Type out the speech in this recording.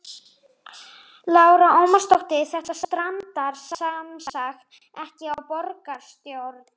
Lára Ómarsdóttir: Þetta strandar semsagt ekki á borgarstjórn?